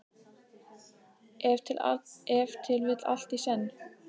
Ef til vill allt í senn.